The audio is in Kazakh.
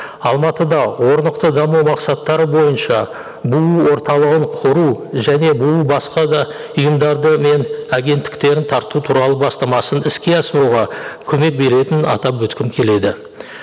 алматыда орнықты даму мақсаттары бойынша бұұ орталығын құру және бұұ басқа да ұйымдарды мен агенттіктерін тарту туралы бастамасын іске асыруға көмек беретінін атап өткім келеді